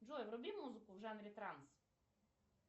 джой вруби музыку в жанре транс